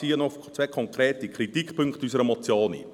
Ich gehe auf zwei konkrete Kritikpunkte zu unserer Motion ein.